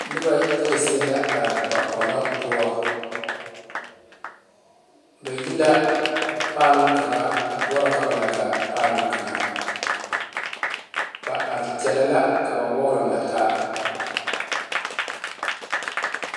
Noba yaga zie la are ba Polɔ poɔ ba e la paalɔ kaŋa a boɔrɔ ka ba lɛ gaa paalɔ kaŋa ba are kyɛle la ka ba wagre na ta.